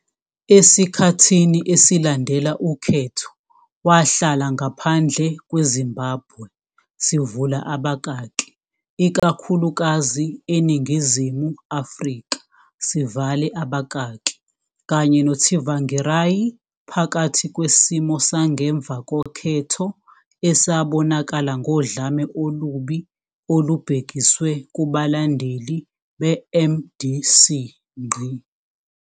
Esikhathini esilandela ukhetho, wahlala ngaphandle kweZimbabwe, sivula abakaki ikakhulukazi eNingizimu Afrika sivale babakaki, kanye noTsvangirai, phakathi kwesimo sangemva kokhetho esabonakala ngodlame olubi olubhekiswe kubalandeli beMDC.